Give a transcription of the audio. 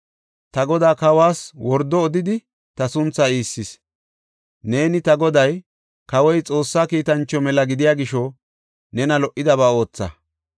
Ta godaa, kawas wordo odidi ta sunthaa iissis. Neeni ta goday, kawoy Xoossa kiitancho mela gidiya gisho nena lo77idaba ootha.